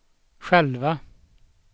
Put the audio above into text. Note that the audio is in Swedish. själva